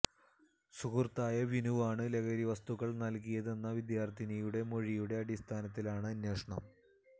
സുഹൃത്തായ വിനുവാണ് ലഹരി വസ്തുക്കള് നല്കിയതെന്ന വിദ്യാര്ഥിനിയുടെ മൊഴിയുടെ അടിസ്ഥാനത്തിലാണ് അന്വേഷണം